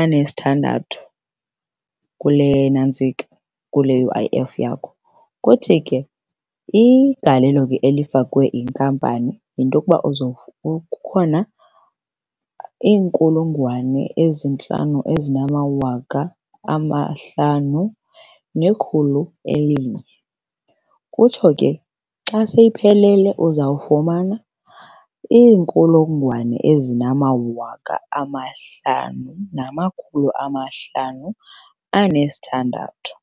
anesithandathu kule nantsika, kule U_I_F yakho. Kuthi ke igalelo ke elifakwe yinkampani yinto yokuba kukhona iinkulungwane ezintlanu ezinamawaka amahlanu nekhulu elinye. Kutsho ke xa seyiphelele uzawufumana iinkulungwane ezinamawaka amahlanu namakhulu amahlanu anesithandathu.